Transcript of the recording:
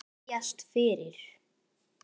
Biðjast fyrir?